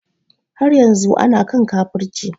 Har yanzu ana kan kafirci